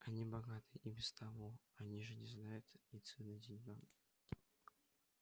они богаты и без того они же не знают и цены деньгам